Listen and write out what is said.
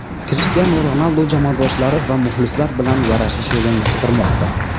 Krishtianu Ronaldu jamoadoshlari va muxlislar bilan yarashish yo‘lini qidirmoqda.